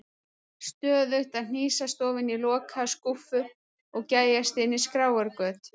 Stöðugt að hnýsast ofan í lokaðar skúffur og gægjast inn í skráargöt.